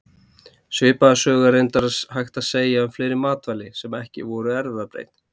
Svipaða sögu er reyndar hægt að segja um fleiri matvæli, sem ekki eru erfðabreytt.